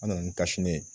An nana ni ye